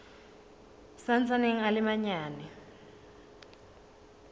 sa ntsaneng a le manyane